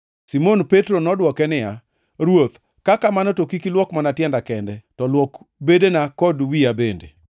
Simon Petro nodwoke niya, “Ruoth, ka kamano, to kik ilwok mana tienda kende, to luok bedena kod wiya bende!”